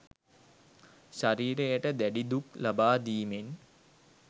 ශරීරයට දැඩි දුක් ලබා දීමෙන්